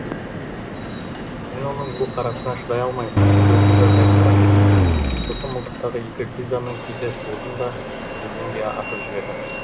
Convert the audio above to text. мен оның бұл қарасына шыдай алмай көзімді тайдырып әкеттім сосын мылтықтағы екі гильзаны тез тез суырдым да өзенге атып жібердім